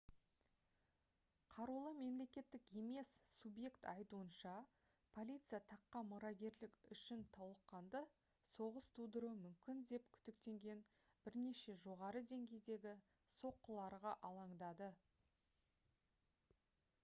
қарулы мемлекеттік емес субъект айтуынша полиция таққа мұрагерлік үшін толыққанды соғыс тудыруы мүмкін деп күдіктенген бірнеше жоғары деңгейдегі соққыларға алаңдады